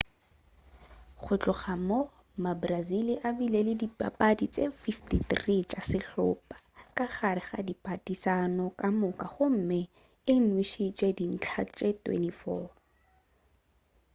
go tloga moo mabrazili a bile le dipapadi tše 53 tša sehlopa ka gare ga diphadišano ka moka gomme e nwešitše dintlha tše 24